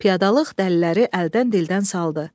Piyadalıq dəliləri əldən-dildən saldı.